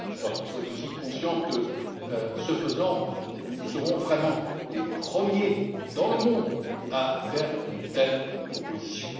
Je crois qu'il faut aussi être conscient que, ce faisant, nous serons vraiment les premiers dans le monde à faire une telle proposition.